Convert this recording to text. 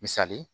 Misali